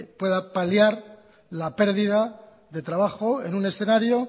pueda paliar la pérdida de trabajo en un escenario